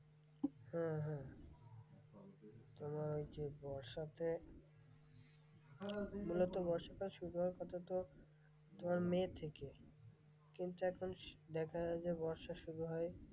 হ্যাঁ হ্যাঁ তোমার যে বর্ষাতে মূলত বর্ষাকাল শুরু হওয়ার কথাতো তোমার মে থেকে, কিন্তু এখন দেখা যায় বর্ষা শুরু হয়,